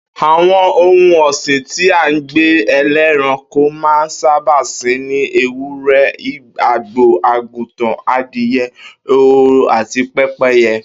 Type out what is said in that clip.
Àwo̩n ohun ò̩sìn tí àgbè̩ e̩lé̩ranko máa n sábà sìn ni ewúré̩, àgbò, àgùntàn, adìye̩, ehoro àti pé̩pé̩ye̩